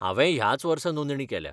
हांवेंय ह्याच वर्सां नोंदणी केल्या.